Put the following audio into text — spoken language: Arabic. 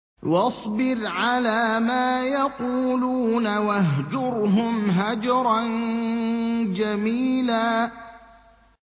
وَاصْبِرْ عَلَىٰ مَا يَقُولُونَ وَاهْجُرْهُمْ هَجْرًا جَمِيلًا